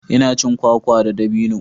Ina cin kwakwa da dabino.